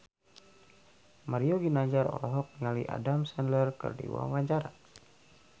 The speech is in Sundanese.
Mario Ginanjar olohok ningali Adam Sandler keur diwawancara